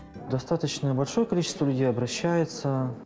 достаточно большой количество людей обращаються